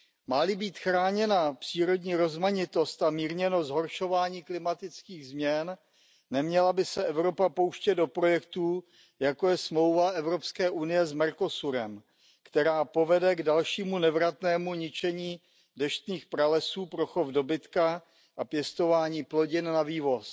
Má li být chráněna přírodní rozmanitost a mírněno zhoršování klimatických změn, neměla by se Evropa pouštět do projektů, jako je smlouva EU s Mercosurem, která povede k dalšímu nevratnému ničení pralesů pro chov dobytka a pěstování plodin na vývoz.